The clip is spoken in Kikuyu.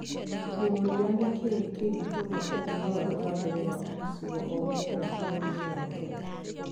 Akĩũria nĩkĩ kĩngĩtũma ũthii wa na mbere wa gĩcigo o gĩothe bũrũriinĩ wa Kenya,